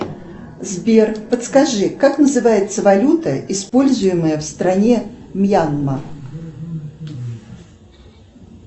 сбер подскажи как называется валюта используемая в стране мьянма